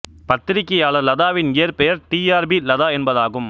பத்திரிகையாளர் லதாவின் இயற்பெயர் டி ஆர் பி லதா என்பதாகும்